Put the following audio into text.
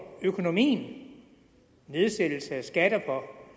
økonomien nedsættelse af skatter for